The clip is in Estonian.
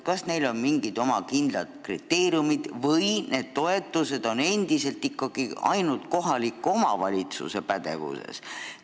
Kas neile on mingid kindlad kriteeriumid kehtestatud või on need toetused endiselt ainult kohaliku omavalitsuse pädevuses?